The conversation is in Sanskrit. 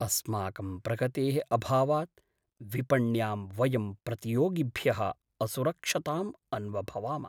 अस्माकं प्रगतेः अभावात् विपण्यां वयं प्रतियोगिभ्यः असुरक्षतां अन्वभवाम।